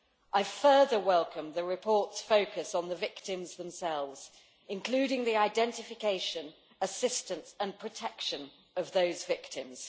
I further welcome the report's focus on the victims themselves, including the identification, assistance and protection of those victims.